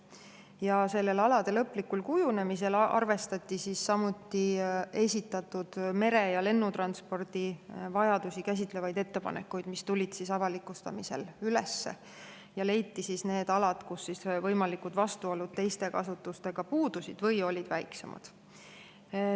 Ja sellel alade lõplikul kujunemisel arvestati samuti esitatud mere‑ ja lennutranspordi vajadusi käsitlevaid ettepanekuid, mis tulid avalikustamisel üles, ja leiti need alad, kus võimalikud vastuolud teiste kasutustega puudusid või olid väiksemad.